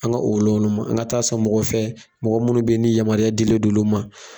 An ka o woloma woloma an ka taa san mɔgɔ fɛ mɔgɔ minnu bɛ ye ni yamaruya dilen do olu ma.